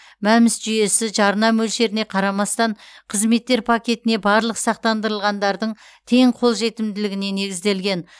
мәмс жүйесі жарна мөлшеріне қарамастан қызметтер пакетіне барлық сақтандырылғандардың тең қолжетімдігіне негізделген